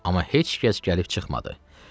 Amma heç kəs gəlib çıxmadı.